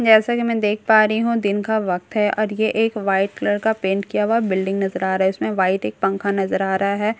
जैसा कि मैं देख पा रही हूं दिन का वक्त है और ये एक वाइट कलर का पेंट किया हुआ बिल्डिंग नजर आ रहा है इसमें वाइट एक पंखा नजर आ रहा है।